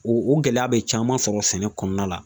O gɛlɛya be caman sɔrɔ sɛnɛ kɔnɔna la.